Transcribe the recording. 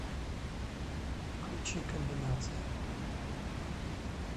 включи комбинация